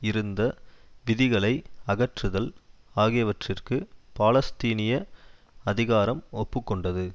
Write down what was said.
இருந்த விதிகளை அகற்றுதல் ஆகியவற்றிற்கு பாலஸ்தீனிய அதிகாரம் ஒப்பு கொண்டது